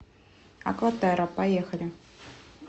акватерра поехали